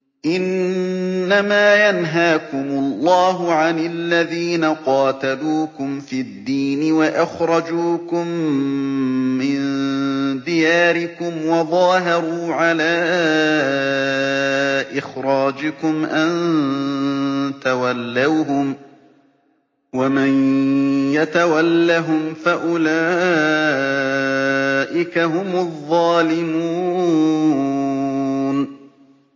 إِنَّمَا يَنْهَاكُمُ اللَّهُ عَنِ الَّذِينَ قَاتَلُوكُمْ فِي الدِّينِ وَأَخْرَجُوكُم مِّن دِيَارِكُمْ وَظَاهَرُوا عَلَىٰ إِخْرَاجِكُمْ أَن تَوَلَّوْهُمْ ۚ وَمَن يَتَوَلَّهُمْ فَأُولَٰئِكَ هُمُ الظَّالِمُونَ